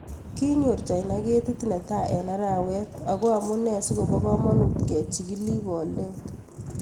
Kinyor China ketit netai eng arawet ago amunee si koba kamonut kechigil ing boldet.